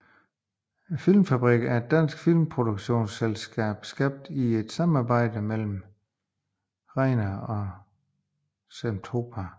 Filmfabrikken er et dansk filmproduktionsselskab skabt i et samarbejde mellem Regner Grasten Film og Zentropa